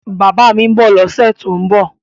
Bàbá mi ń bọ̀ lọ́sẹ̀ tó ń bọ̀